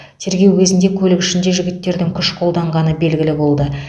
тергеу кезінде көлік ішінде жігіттердің күш қолданғаны белгілі болды